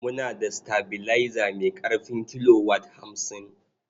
Muna da sitabilaiza mai ƙarfin kilowat hamsin.